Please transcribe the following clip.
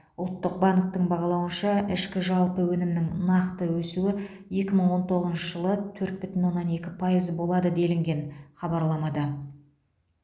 ұлттық банктің бағалауынша ішкі жалпы өнімнің нақты өсуі екі мың он тоғызыншы жылы төрт бүтін оннан екі пайыз болады делінген хабарламада